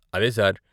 అదే సార్.